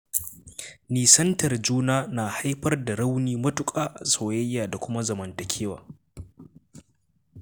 Nisantar juna na haifar da rauni matuƙa a soyayya da kuma zamantakewa.